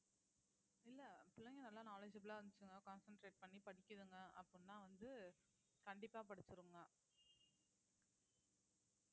இல்ல பிள்ளைங்க நல்லா knowledgeable ஆ இருந்துச்சுங்க concentrate பண்ணி படிக்குதுங்க அப்படின்னா வந்து கண்டிப்பா படிச்சிருங்க அதுல